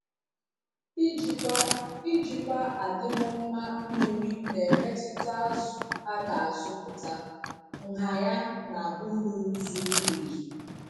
Ijikwa Ijikwa adịm mma mmiri na-emetụta zụ a ga-azụpụta, nha ya na uru zuru ezu.